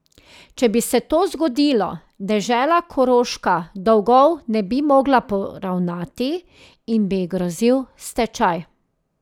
Če bi se to zgodilo, dežela Koroška dolgov ne bi mogla poravnati in bi ji grozil stečaj.